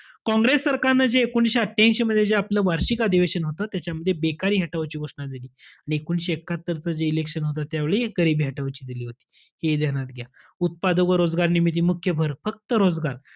काँग्रेस सरकारनं जे एकोणीशे अठ्ठयांशी मध्ये जे आपलं वार्षिक अधिवेशन होतं. त्याच्यामध्ये बेकारी हटवाची घोषणा दिली. आणि एकोणीशे एकात्तरच जे election होतं त्यावेळी गरिबी हटाओची दिली होती. हे ध्यान्यात घ्या. उत्पाद व रोजगार निर्मिती मुख्य भर, फक्त रोजगार,